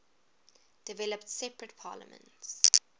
developed separate parliaments